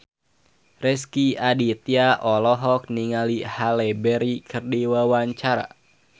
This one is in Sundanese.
Rezky Aditya olohok ningali Halle Berry keur diwawancara